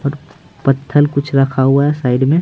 और पत्थल कुछ रखा हुआ है साइड में।